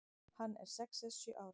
Hann er sex eða sjö ára.